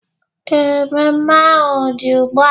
Ee, mmemme ahu dị ugbua